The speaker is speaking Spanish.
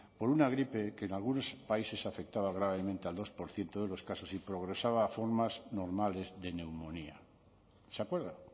por una gripe que algunos países afectaba gravemente al dos por ciento de los casos y progresaba a formas normales de neumonía se acuerda